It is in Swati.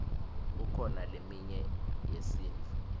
kukhona leminye yesintu